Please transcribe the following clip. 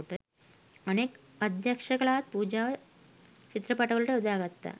අනෙක් අධ්‍යක්ෂලාත් පූජාව චිත්‍රපටවලට යොදා ගත්තා.